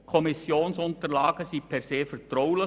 Die Kommissionsunterlagen sind per se vertraulich.